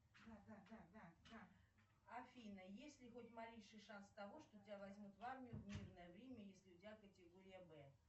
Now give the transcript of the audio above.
афина есть ли хоть малейший шанс того что тебя возьмут в армию в мирное время если у тебя категория б